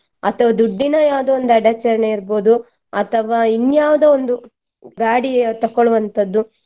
ಅಥವಾ ದುಡ್ಡಿನ ಯಾವ್ದೋ ಒಂದು ಅಡಚಣೆ ಇರ್ಬೋದು ಅಥವಾ ಇನ್ಯಾವುದೋ ಒಂದು ಗಾಡಿಯ ತಕ್ಕೊಳ್ಳುವಂತದ್ದು.